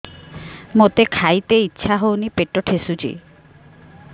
ମୋତେ ଖାଇତେ ଇଚ୍ଛା ହଉନି ପେଟ ଠେସୁଛି